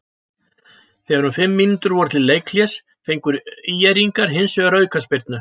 Þegar um fimm mínútur voru til leikhlés fengu ÍR-ingar hins vegar aukaspyrnu.